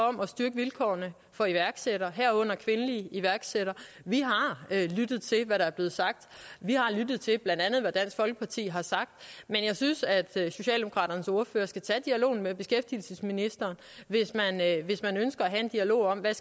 om at styrke vilkårene for iværksættere herunder kvindelige iværksættere vi har lyttet til hvad der er blevet sagt vi har lyttet til blandt andet hvad dansk folkeparti har sagt men jeg synes at socialdemokraternes ordfører skal tage dialogen med beskæftigelsesministeren hvis man ønsker at have en dialog om hvad